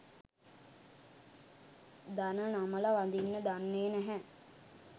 දන නමල වඳින්න දන්නේ නැහැ